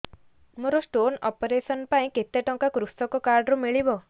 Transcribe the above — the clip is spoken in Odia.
ମୋର ସ୍ଟୋନ୍ ଅପେରସନ ପାଇଁ କେତେ ଟଙ୍କା କୃଷକ କାର୍ଡ ରୁ ମିଳିବ